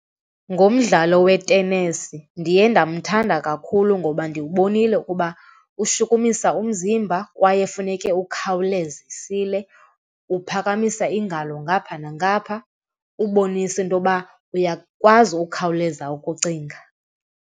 Ngomdlalo we-tennis ndiye ndamthanda kakhulu ngoba ndiwubonile ukuba ushukumisa umzimba kwaye funeke ukhawuzisile, uphakamisa iingalo ngapha nangapha ubonisa intoba uyakwazi ukhawuleza ukucinga.